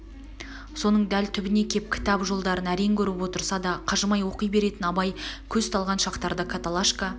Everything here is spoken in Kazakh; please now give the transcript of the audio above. соның дәл түбіне кеп кітап жолдарын әрең көріп отырса да қажымай оқи беретн абай көз талған шақтарда каталашка